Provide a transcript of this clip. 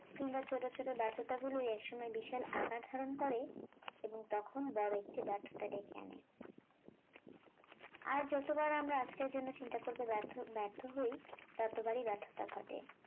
কিম্বা ছোট ছোট ব্যর্থতা গুলোই একসময় বিশাল আকার ধারণ করে এবং তখন বড় একটি ব্যর্থতা ডেকে আনে আর যতবার আমরা আজকের জন্য চিন্তা করতে ব্যর্থ ব্যর্থ হয় ততবারই ব্যর্থতা ঘটে